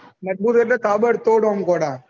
મજબુર એટલે કબડ તોડ એમ ગોળા